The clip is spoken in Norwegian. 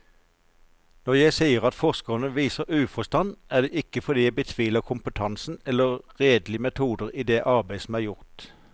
Når jeg sier at forskerne viser uforstand, er det ikke fordi jeg betviler kompetansen eller redelig metode i det arbeid som er gjort.